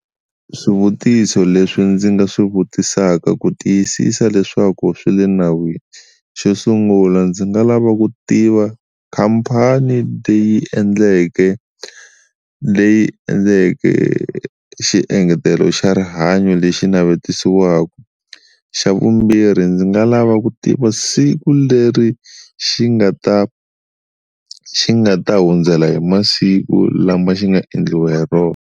Swivutiso leswi ndzi nga swi vutisaka ku tiyisisa leswaku swi le nawini xo sungula ndzi nga lava ku tiva khampani leyi endleke leyi endleke xiengetelo xa rihanyo lexi navetisiwaka, xa vumbirhi ndzi nga lava ku tiva siku leri xi nga ta xi nga ta hundzela hi masiku lama xi nga endliwa hi rona.